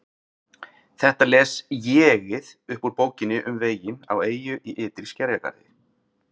Þetta les ÉG-ið upp úr Bókinni um veginn á eyju í ytri skerjagarði